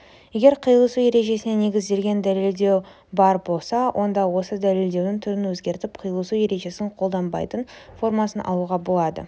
егер қиылысу ережесіне негізделген дәлелдеу бар болса онда осы дәлелдеудің түрін өзгертіп қиылысу ережесін қолданбайтын формасын алуға болады